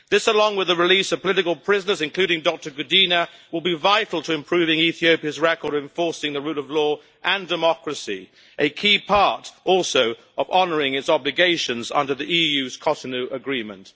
This, along with the release of political prisoners including Dr Gudina, will be vital to improving Ethiopia's record of enforcing the rule of law and democracy a key part also of honouring its obligations under the EU's Cotonou agreement.